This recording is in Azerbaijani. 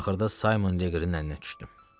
Axırda Simon Leqrenin əlinə düşdüm.